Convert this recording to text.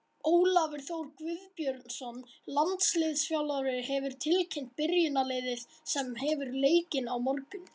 Ólafur Þór Guðbjörnsson, landsliðsþjálfari, hefur tilkynnt byrjunarliðið sem hefur leikinn á morgun.